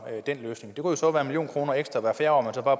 den løsning det kunne så være en million kroner ekstra hvert fjerde